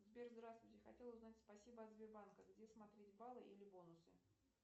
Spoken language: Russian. сбер здравствуйте хотел узнать спасибо от сбербанка где смотреть баллы или бонусы